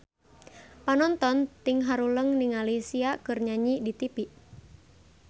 Panonton ting haruleng ningali Sia keur nyanyi di tipi